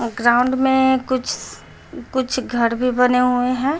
Ground में कुछ कुछ घर भी बने हुए है।